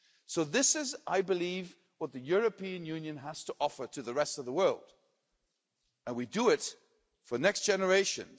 So this is, I believe, what the European Union has to offer to the rest of the world and we do it for the next generations.